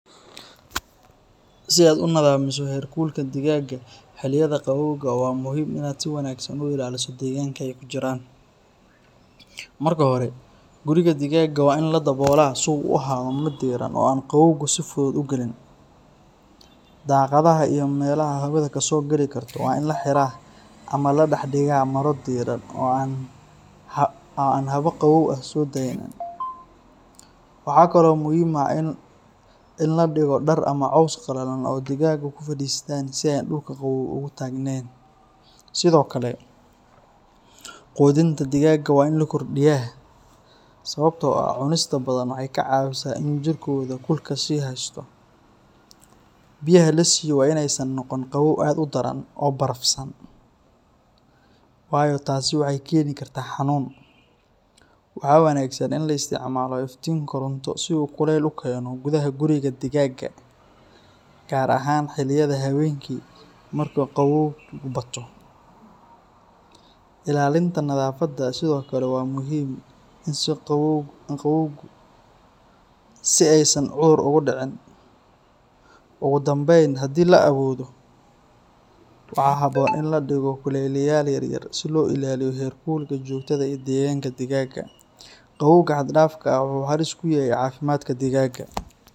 Si aad u nadamiso heerkulka digaagga xilliyada qabowga, waa muhiim inaad si wanaagsan u ilaaliso deegaanka ay ku jiraan. Marka hore, guriga digaagga waa in la daboolaa si uu u ahaado mid diiran oo aan qabowgu si fudud u gelin. Daaqadaha iyo meelaha hawadu ka soo gali karto waa in la xiraa ama la dhexdhigaa maro diirran oo aan hawo qabow ah soo daynayn. Waxaa kaloo muhiim ah in la dhigo dhar ama caws qallalan oo digaagga ku fadhiistaan si aysan dhulka qabow ugu taagnayn. Sidoo kale, quudinta digaagga waa in la kordhiyaa, sababtoo ah cunista badan waxay ka caawisaa in jirkooda kulka sii haysto. Biyaha la siiyo waa in aysan noqon qabow aad u daran oo barafsan, waayo taasi waxay keeni kartaa xanuun. Waxaa wanaagsan in la isticmaalo iftiin koronto si uu kuleyl u keeno gudaha guriga digaagga, gaar ahaan xilliyada habeenkii marka qabowgu bato. Ilaalinta nadaafadda sidoo kale waa muhiim si aysan cudur ugu dhicin. Ugu dambayn, haddii la awoodo, waxaa habboon in la dhigo kuleyliyayaal yar yar si loo ilaaliyo heerkulka joogtada ah ee deegaanka digaagga. Qabowga xad-dhaafka ah wuxuu halis ku yahay caafimaadka digaagga.